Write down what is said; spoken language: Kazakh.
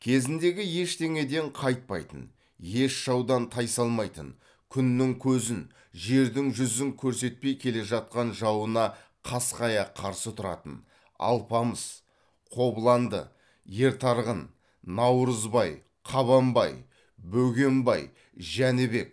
кезіндегі ештеңеден қайтпайтын еш жаудан тайсалмайтын күннің көзін жердің жүзін көрсетпей келе жатқан жауына қасқая қарсы тұратын алпамыс қобланды ертарғын наурызбай қабанбай бөгенбай жәнібек